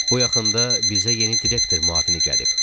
Bu yaxında bizə yeni direktor müavini gəlib.